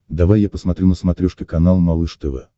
давай я посмотрю на смотрешке канал малыш тв